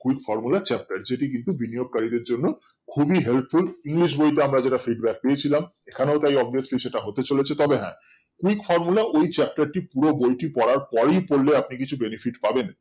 ওই formula র chapter যেটি কিন্তু বিনোয়েড কারীদের জন্য খুবই helpful english বইতে আমরা যেটা feedback পেয়েছিলাম এখানেও সেটা obviously হতে চলেছে তবে হ্যাঁ এই formula ওই chapter টি পুরো বইটি পড়ার পর ই পড়লে আপনি কিছু benefit পাবেন